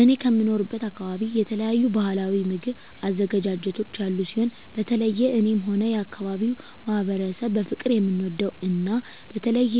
እኔ ከምኖርበት አካበቢ የተለያዩ ባህላዊ ምግብ አዘገጃጀቶች ያሉ ሲሆን በተለየ እኔም ሆነ የአካባቢዉ ማህበረሰብ በፍቅር የምንወደው እና በተለየ